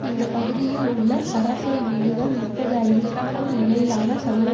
இந்த பகுதியில் உள்ள சராசரி வீடுகள் முப்பது ஐம்பதுக்கும் இடையிலான சதுர